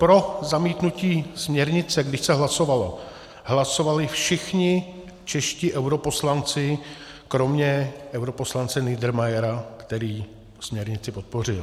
Pro zamítnutí směrnice, když se hlasovalo, hlasovali všichni čeští europoslanci kromě europoslance Niedermayera, který směrnici podpořil.